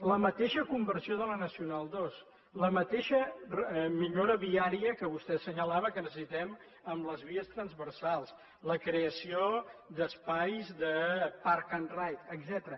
la mateixa conversió de la nacional ii la mateixa millora viària que vostè assenyalava que necessitem amb les vies transversals la creació d’espais de park and ride etcètera